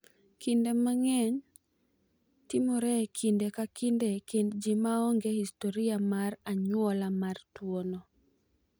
Kinde mang’eny, timore e kinde ka kinde e kind ji ma onge historia mar anyuola mar tuwono.